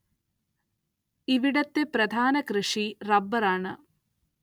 ഇവിടത്തെ പ്രധാന കൃഷി റബ്ബര്‍ ആണ്